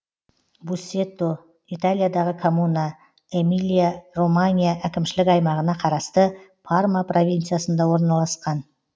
буссето италиядағы коммуна эмилия романья әкімшілік аймағына қарасты парма провинциясында орналасқан